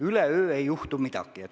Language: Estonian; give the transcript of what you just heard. Üleöö ei juhtu midagi.